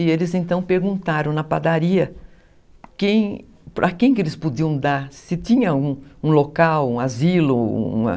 E eles então perguntaram na padaria para quem que eles podiam dar, se tinha um local, um asilo, uma...